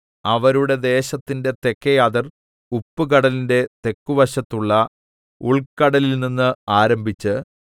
അവരുടെ ദേശത്തിന്റെ തെക്കെ അതിർ ഉപ്പുകടലിന്റെ തെക്കുവശത്തുള്ള ഉൾക്കടലിൽ നിന്നു ആരംഭിച്ച്